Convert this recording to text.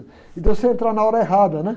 E de você entrar na hora errada, né?